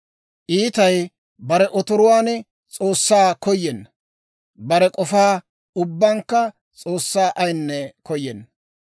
Iitay bare otoruwaan S'oossaa koyenna; bare k'ofa ubbankka S'oossaa ayinne koyenna.